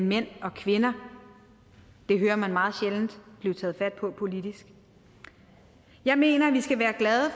mænd og kvinder det hører man meget sjældent blive taget fat på politisk jeg mener at vi skal være glade